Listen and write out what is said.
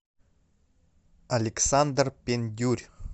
александр пендюрь